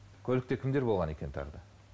көлікте кімдер болған екен тағы да